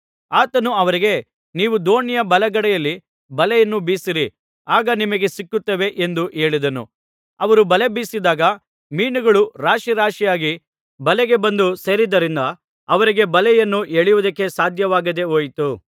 ಆತನು ಅವರಿಗೆ ನೀವು ದೋಣಿಯ ಬಲಗಡೆಯಲ್ಲಿ ಬಲೆಯನ್ನು ಬೀಸಿರಿ ಆಗ ನಿಮಗೆ ಸಿಕ್ಕುತ್ತವೆ ಎಂದು ಹೇಳಿದನು ಅವರು ಬಲೆ ಬೀಸಿದಾಗ ಮೀನುಗಳು ರಾಶಿ ರಾಶಿಯಾಗಿ ಬಲೆಗೆ ಬಂದು ಸೇರಿದ್ದರಿಂದ ಅವರಿಗೆ ಬಲೆಯನ್ನು ಎಳೆಯುವುದಕ್ಕೆ ಸಾಧ್ಯವಾಗದೆ ಹೋಯಿತು